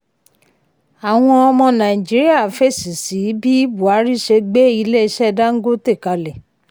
àwọn ọmọ nàìjíríà fèsì sí bí buhari ṣe gbé ilé iṣẹ́ dangote kalẹ̀.